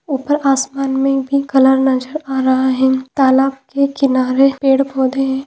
ऊपर आसमान मे भी कलर नजर आ रहा हे तालाब के किनारे पेड़ पौधे हे।